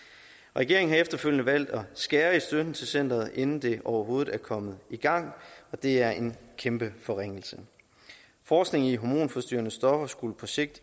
regering har efterfølgende valgt at skære i støtten til centeret inden det overhovedet er kommet i gang og det er en kæmpe forringelse forskningen i hormonforstyrrende stoffer skulle på sigt